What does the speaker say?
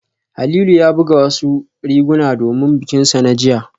Halilu ya buga wasu riguna domin bikinsa na jiya